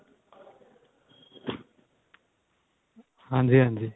ਹਾਂਜੀ ਹਾਂਜੀ